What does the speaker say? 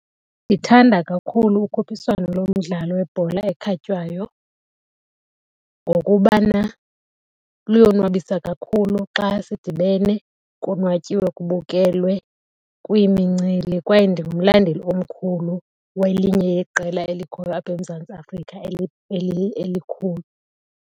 Ndithanda kakhulu ukhuphiswano lomdlalo webhola ekhatywayo ngokubana luyonwabisa kakhulu xa sidibene, konwatyiwe kubukelwe, kuyimincili kwaye ndingumlandeli omkhulu welinye yeqela elikhoyo apha eMzantsi Afrika elikhulu.